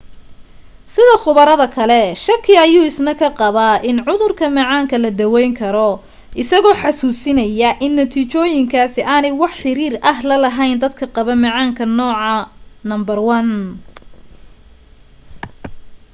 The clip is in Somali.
sida khubarada kale shaki ayuu isna ka qabaa in cudurka macaanka la dawayn karo isagoo xasuusinaya in natiijooyinkaasi aanay wax xiriir ah la lahayn dadka qaba macaanka nooca 1